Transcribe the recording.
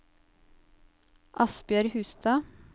Asbjørg Hustad